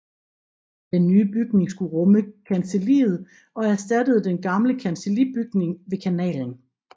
Den nye bygning skulle rumme kancelliet og erstattede den gamle kancellibygning ved kanalen